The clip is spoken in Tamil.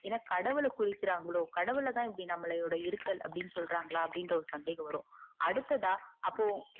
ஏனாகடவுள குரிகுராங்கலோ கடவுள் தான் இப்புடி நம்மளோட இருத்தல் அப்டி சொல்றன்களா அப்படிங்குற ஓர் சந்தேகம் வரும அடுத்தா அப்போ